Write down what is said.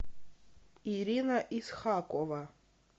ирина исхакова